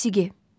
Musiqi.